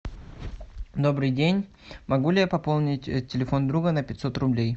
добрый день могу ли я пополнить телефон друга на пятьсот рублей